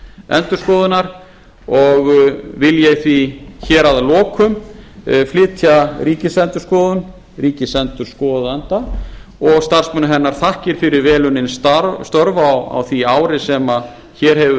ríkisendurskoðunar og vil ég því hér að lokum flytja ríkisendurskoðun ríkisendurskoðanda og starfsmönnum hennar þakkir fyrir vel unnin störf á því ári sem hér hefur